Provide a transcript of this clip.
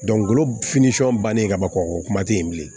bannen ka ban o kuma tɛ yen bilen